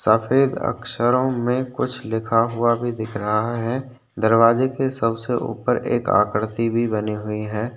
सफ़ेद अक्षरों में कुछ लिखा हुआ भी दिख रहा है दरवाजे के सबसे ऊपर एक आकृति भी बनी हुई है।